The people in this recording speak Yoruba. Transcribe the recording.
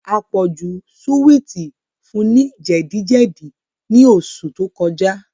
Àpọ̀jù súwìtì fun ní jẹ̀díjẹ̀dí ní oṣù tó kọjá